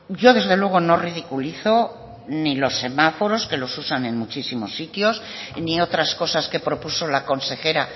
yo desde luego no ridiculizo ni los semáforos que los usan en muchísimos sitios ni otras cosas que propuso la consejera